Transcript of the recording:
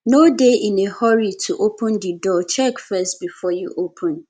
no dey in a hurry to open di door check first before you open